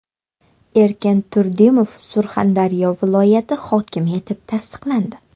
Erkin Turdimov Surxondaryo viloyati hokimi etib tasdiqlandi .